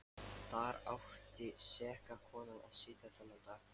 Þar átti seka konan að sitja þennan dag.